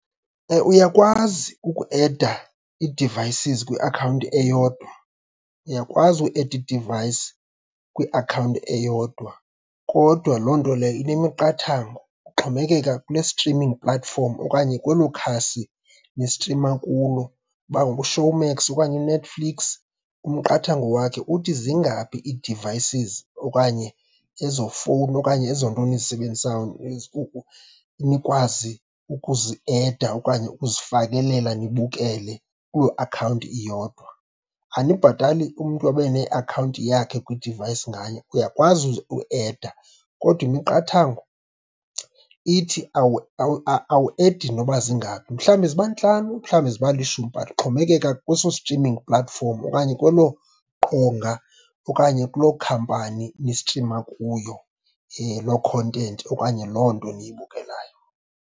Uyakwazi ukueda ii-devices kwiakhawunti eyodwa, uyakwazi ueda i-device kwiakhawunti eyodwa, kodwa loo nto leyo inemiqathango, kuxhomekeka kule streaming platform okanye kwelo khasi nistrima kulo. Uba nguShowmax okanye uNetflix, umqathango wakhe uthi zingaphi ii-devices okanye ezo fowuni okanye ezo nto nizisebenzisayo nikwazi ukuzieda okanye ukuzifakelela nibukele kuloo akhawunti iyodwa. Anibhatali umntu abe neakhawunti yakhe kwi-device nganye, uyakwazi ueda, kodwa imiqathango ithi awuedi noba zingaphi. Mhlawumbi ziba ntlanu, mhlawumbi ziba lishumi, but kuxhomekeka kweso streaming platform okanye kwelo qonga okanye kulo khampani nistrima kuyo loo content okanye loo nto niyibukelayo.